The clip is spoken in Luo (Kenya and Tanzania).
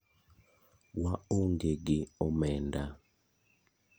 Wa onge gi omenda.